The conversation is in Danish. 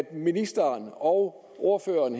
ministeren og ordføreren